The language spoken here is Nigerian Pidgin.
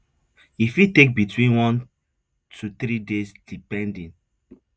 e fit take between one to three days depending